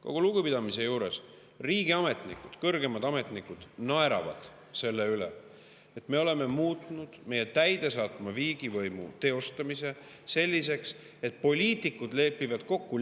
Kogu lugupidamise juures, riigiametnikud, kõrgemad ametnikud naeravad selle üle, et me oleme muutnud meie täidesaatva riigivõimu teostamise selliseks, et poliitikud lepivad kokku